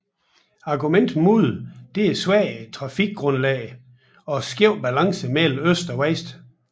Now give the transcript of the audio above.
Argumentet mod det er svagt trafikgrundlag og skæv balance mellem øst og vest